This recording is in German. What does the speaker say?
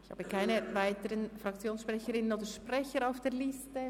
Ich habe keine weiteren Fraktionssprecherinnen oder -sprecher auf der Liste.